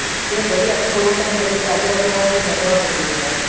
એ ગલી આખી corantian કરી એટલે આજુ બાજુ વાળા ને કોય ને નેકલવાજ નથી દેતા